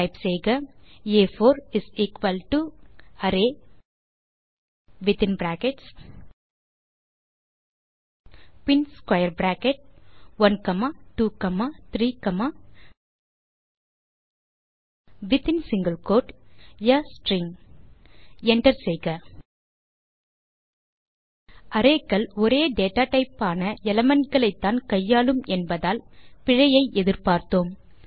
type செய்க ஆ4 array within brackets பின் square bracket 1 comma 2 comma 3 comma within single quote a string enter செய்க array க்கள் ஒரே டேட்டாடைப் ஆன எலிமெண்ட் களைத்தான் கையாளும் என்பதால் பிழையை எதிர்பார்த்தோம்